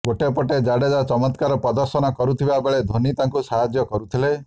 ଗୋଟେ ପଟରେ ଜାଡେଜା ଚମତ୍କାର ପ୍ରଦର୍ଶନ କରୁଥିବା ବେଳେ ଧୋନି ତାଙ୍କୁ ସାହାଯ୍ୟ କରୁଥିଲେ